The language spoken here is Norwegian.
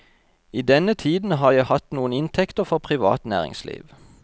I denne tiden har jeg hatt noen inntekter fra privat næringsliv.